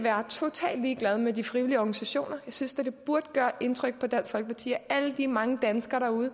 ligeglade med de frivillige organisationer jeg synes da det burde gøre indtryk på dansk folkeparti at alle de mange danskere derude